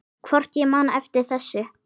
Hvort ég man eftir þessu.